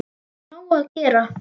Það er nóg að gera.